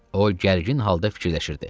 O gərgin halda fikirləşirdi.